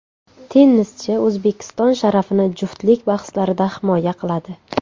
Tennischi O‘zbekiston sharafini juftlik bahslarida himoya qiladi.